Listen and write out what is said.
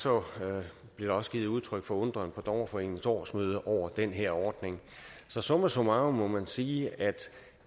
blev der også givet udtryk for undren på dommerforeningens årsmøde over den her ordning så summa summarum må man sige at